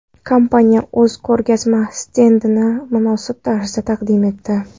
Kompaniya o‘z ko‘rgazma stendini munosib tarzda taqdim etdi.